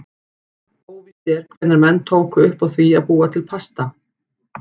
Óvíst er hvenær menn tóku upp á því að búa til pasta.